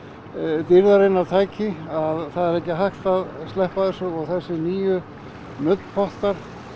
dýrðarinnar tæki að það er ekki hægt að sleppa þessu og þessir nýju nuddpottar